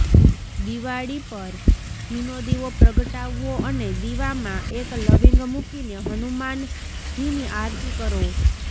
દીવાળી પર ઘીનો દીવો પ્રગટાવો અને દીવામાં એક લવીંગ મૂકીને હનુમાનજીની આરતી કરો